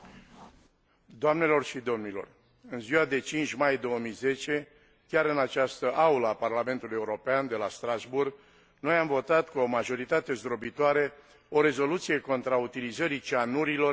În ziua de 5 mai 2010, chiar în această aulă a Parlamentului European de la Strasbourg, noi am votat cu o majoritate zdrobitoare o rezoluție contra utilizării cianurilor în exploatările miniere.